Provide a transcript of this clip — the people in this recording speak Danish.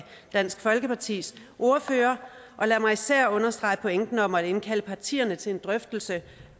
dansk folkepartis ordfører og lad mig især understrege pointen om at indkalde partierne til en drøftelse